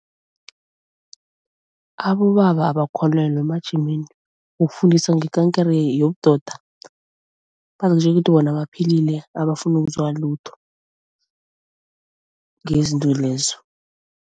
Abobaba abakholelwa emajimeni wokufundisa ngekankere yobudoda. Bazitjela ukuthi bona baphilile abafuna ukuzwa lutho ngezinto lezo.